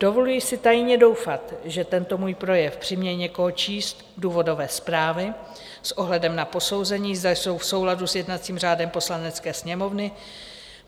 Dovoluji si tajně doufat, že tento můj projev přiměje někoho číst důvodové zprávy s ohledem na posouzení, zda jsou v souladu s jednacím řádem Poslanecké sněmovny.